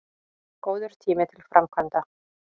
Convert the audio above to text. Góður tími til framkvæmda